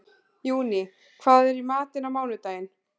Júní, hvað er í matinn á mánudaginn?